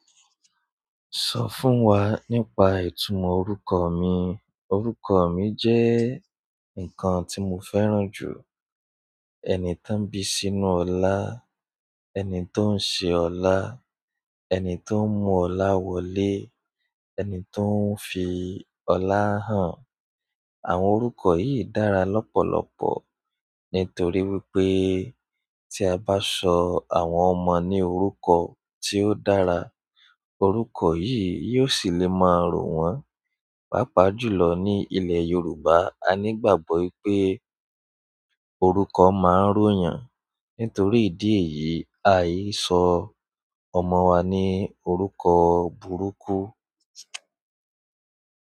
Sọ fún wa nípa ìtumọ̀ orúkọ mi. Ọrúkọ mi jẹ́ nǹkan tí mo fẹ́ràn jù. Ẹni tó ń bí sínú ọlá, ẹni tó ń ṣe ọlá, ẹni tó ń mú ọlá wọlé, ẹni tó ń fi ọlá hàn. Àwọn orúkọ yìí dára lọ́pọ̀lọpọ̀ nítorí wípé tí a bá sọ àwọn ọmọ ní orúkọ tí ó dára, orúkọ yìí yóò sì lè máa rọ̀ wọ́n. Pápá jùlọ ní ilẹ̀ Yorùbá a ní ìgbàgbọ́ pé orúkọ máa ń ró yàn. Nítorí ìdí èyí a yí sọ ọmọ wa ní orúkọ burúkú.